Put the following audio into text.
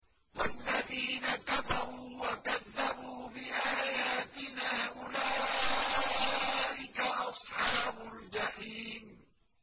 وَالَّذِينَ كَفَرُوا وَكَذَّبُوا بِآيَاتِنَا أُولَٰئِكَ أَصْحَابُ الْجَحِيمِ